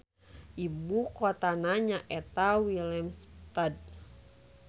Ibu kotana nyaeta Willemstad.